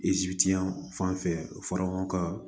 fanfɛ ka fara ɲɔgɔn ka